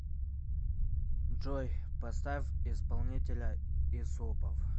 джой поставь исполнителя исупов